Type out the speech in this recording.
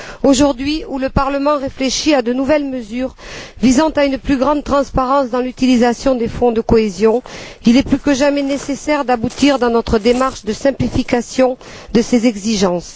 Aujourd'hui où le Parlement réfléchit à de nouvelles mesures visant à une plus grande transparence dans l'utilisation des fonds de cohésion, il est plus que jamais nécessaire d'aboutir dans notre démarche de simplification de ces exigences.